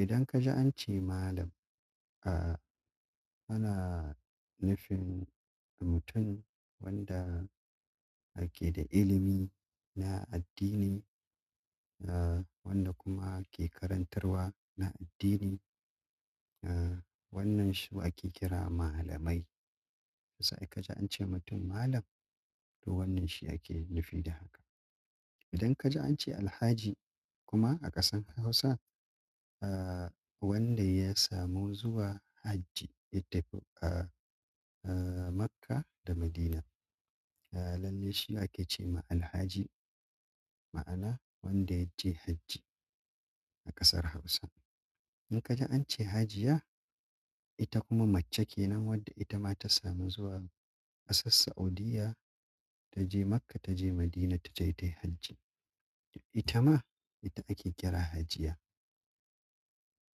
Idan ka ji an ce malam, ah ana nufin mutum wanda yake da ilimi na addini, ah wanda kuma ake karantarwa na addini. Ah wannan su ake kira malamai. Sai kaji ance mutum malam to wannan shi ake nufi da idan ka ji an ce Alhaji kuma a ƙasar Hausa, ah wanda ya samu zuwa hajji itafi ah Makka da Madina. Ya lalle shi ake ce ma Alhaji, ma'ana wanda ya je hajji a ƙasar Hausa. In ka je an ce Hajiya, ita kuma mace kenan wadda ita ma ta samu zuwa ƙasar Saudiya ta je Makka ta je Madina ta je ta yi hajji. Ita ma ita ake kira Hajiya.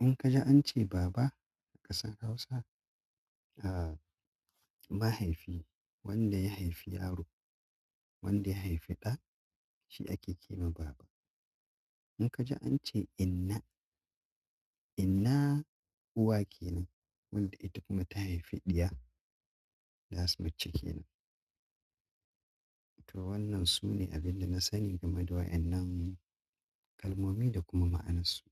In ka ji an ce baba a ƙasar Hausa, ah mahaifi wanda ya haifi yaro, wanda ya haifi ɗa shi ake ce ma baba. In ka ji an ce inna, inna uwa kenan wadda ita kuma ta haifi ɗiya, dasu mace kenan. To wannan su ne abin da na sani game da wa'inan kalmomi da kuma ma'anarsu.